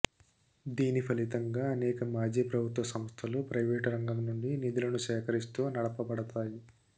దీని ఫలితంగా అనేక మాజీ ప్రభుత్వ సంస్థలు ప్రైవేటు రంగం నుండి నిధులను సేకరిస్తూ నడపబడతాయి